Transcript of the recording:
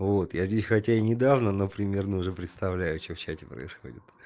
вот я здесь хотя и недавно но примерно уже представляю что в чате происходит